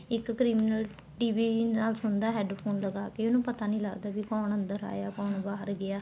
ਇੱਕ criminal TV ਨਾਲ ਸੁਣਦਾ headphone ਲਗਾਕੇ ਉਹਨੂੰ ਪਤਾ ਨਹੀਂ ਲੱਗਦਾ ਵੀ ਕੋਣ ਅੰਦਰ ਆਇਆ ਕੋਣ ਬਾਹਰ ਗਿਆ